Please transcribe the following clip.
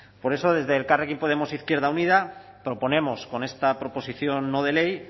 por eso desde elkarrekin podemos e izquierda unida proponemos con esta proposición no de ley